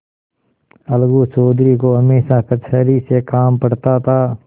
अलगू चौधरी को हमेशा कचहरी से काम पड़ता था